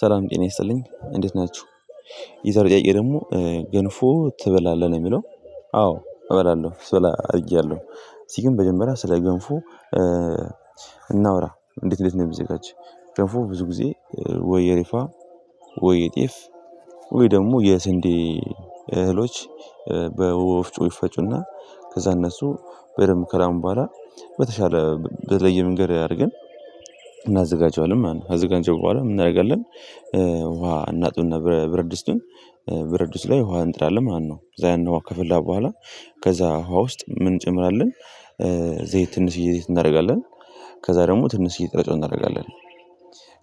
ሰላም ጤና የሰጥልኝ እንዴት ናችሁ። የዛሬ ጥያቄ ደግሞ ገንፎ ትበላለህ ነው የሚለው? አዎ እበላለሁ ስበላ አድጊያለሁ። እስቲ ግን መጀመራያ ስለ ገንፎ። እናውራ እንዴት እንዴት ነው የሚዘጋጅ? ጥንፉ ብዙ ጊዜ ወየሪፋ ወይጤፍ ወይ ደግሞ የስንዴ እህሎች በወፍጮ ይፈጩና ከዛ እነሱ በደንብ ከላም በኋላ በተሻለ በተለመንገድ አድርገን እናዘጋጀዋለን። ማለት ነው አዘጋጀው በኋላ እናደርጋለን። ውሃ እናጥብና ብረድስቱን ብርድስቱ ላይ ውሃ እንጥዳለን ማለትነው። ከዛያን ውሃ ከፈለን በኋላ ከዛ ውሃ ውስጥ ምን እንጨምራለን? ዘይት ትንሽዬ ዘይት እናደርጋለን። ከዛ ደግሞ ትንሽዬ ጥሬ ጨው እናደርጋለን።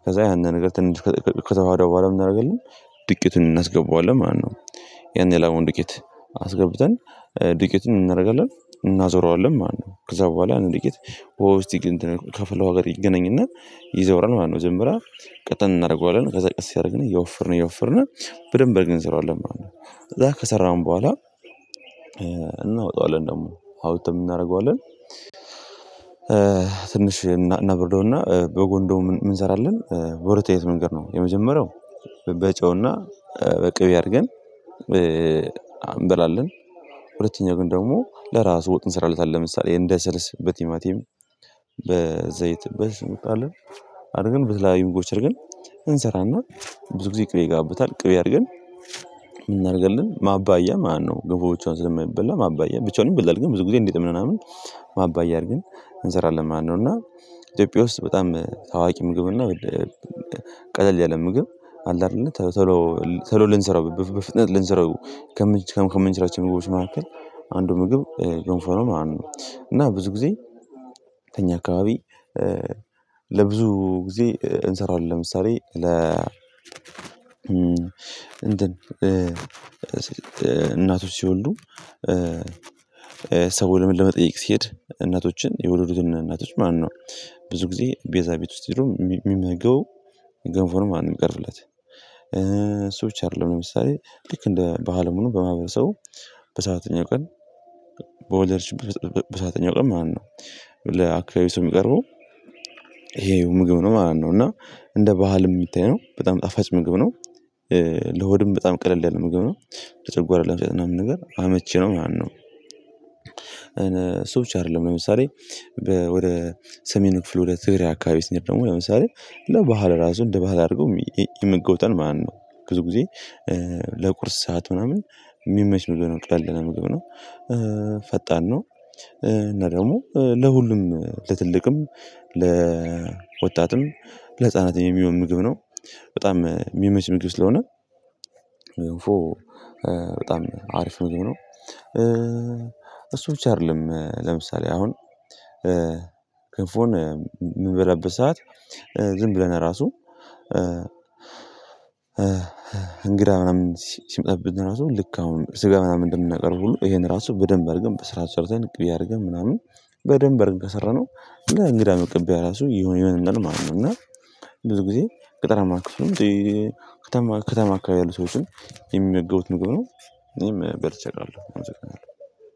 ከዛ ያንን ነገር ትንሽ ከተዋሀደ በኋላ ምን እናደርጋለን? ዱቄቱን እናስገባዋለን ማለት ነው። ያን የላመውን ድቄት አስገብተን ድቄትን እናደርጋለን እናዞራዋለን ማለት ነው። ከዛ በኋላ እንዴ እስቲ ግን ከፍለው ጋር ይገናኝና ይዘውራል ማለት ነው። ጀምራ ቀጥለን እናደርገዋለን ከዛ ቀጥ ሲያደርግን እየወፈርን እየወፈርን በደንብ በርግን እንሰራዋለን ማለት ነው። ከዛ ከሰራን በኋላ እናወጣዋለን ደግሞ አውጥተን እናደርገዋለን። ትንሽ እናብርደውና በጎን በጎን ደሞ እንሰራለን በወረተኝነት መንገድ ነው የመጀመሪያው በጨውና በቅቤ አድርገን እንበላለን። ሁለተኛ ግን ደግሞ ለራሱ ወጥ እንሰራለታለን ለምሳሌ እንደ ስልስ በቲማቲም በዘይት በስሙጥ አለን አድርገን በትላሊን ጎች አድርገን እንሰራና። ብዙ ጊዜ ቅቤ ይጋብታል ቅሬ አድርገን ምን እናደርጋለን ማባያ ማነው ግንፎቻችን ዝም ብለን ማባያ ብቻውንም ብለን ግን ብዙ ጊዜ እንዴት ምናምን ማባያ አድርገን እንሰራለን ማለት ነው። እና ኢትዮጵያ ውስጥ በጣም ታዋቂ ምግብና ቀለል ያለ ምግብ አለ አይደል? ቶሎ ቶሎ ልንሰራው በፍጥነት ልንሰራው ከመንች ከምንችላቸው ምግቦች መካከል አንዱ ምግብ የሆንፈረው ማለት ነው። እና ብዙ ጊዜ ተኛ አካባቢ ለብዙ ጊዜ እንሰራዋለን። ለምሳሌ ለ እናቶች ሲወልዱ ሰው ለመጠየቅ ሲሄድ እናቶችን የወለዱትን እናቶች ማለት ነው። ብዙ ጊዜ ቤዛ ቤት ውስጥ ይላል የሚመገው ገንፎ ነው ማለት እሚቀርብለት። ሰዎች አይደለም ለምሳሌ ልክ በአለሙኑ በማህበረሰቡ በሰአተኛው ቀን በወለድሽበት በሰአተኛው ቀን ማነው? ለአካባቢው ሰው የሚቀርበው ይሄው ምግብ ነው ማለት ነው። እና እንደ ባህል የሚታይ ነው በጣም ጣፋጭ ምግብ ነው። ለሆድም በጣም ቀለል ያለ ምግብ ነው ለጨጓራ ምናምን ነገር አመቺ ነው ያን ነው። እነ ሰው ብቻ አይደለም ለምሳሌ ወደ ሰሜኑ ክፍል ወደ ትግሬ አካባቢ ስንሄድ ደግሞ ለምሳሌ ለባህል ራሱ እንደ ባህል አድርገው የምገውተን ማነው? ግዝጊዜ ለቁርስ ሰዓት ምናምን የሚመች ምግብ ነው ቀለል ያለ ምግብ ነው። ፈጣን ነው። እና ደግሞ ለሁሉም ለትልቅም ለወጣትም ለህፃናትም የሚሆን ምግብ ነው። በጣም የሚመች ምግብ ስለሆነ በጣም አሪፍ ምግብ ነው። ብቻ አይደለም ለምሳሌ አሁን ገንፎን የምበላበት ሰዓት ዝም ብለን ራሱ እንግዳ ምናምን ሲመጣብን ለራሱ ልክ አሁን ስጋ ምናምን እንደምናቀርቡ ይሄን ራሱ በደንብ አድርገን በስራ ሰርተን ቅቤ አድርገን ምናምን በደንብ አድርገን ከሰራነው እና እንግዳ የምትቀበል ራሱ የሆነ የሆነ ነው ማለት ነው። እና ብዙ ጊዜ ገጠራማ ክፍል ነው። ከተማ ከተማ አካባቢ ያሉ ሰዎችን የሚመገቡት ምግብ ነው። እኔም በል አቃለሁ።